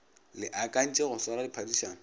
le akantše go swara phadišano